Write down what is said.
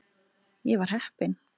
Ég var heppin.